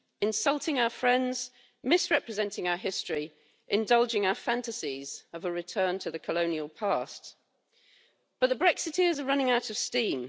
Insulting our friends, misrepresenting our history, indulging our fantasies of a return to the colonial past. But the Brexiteers are running out of steam.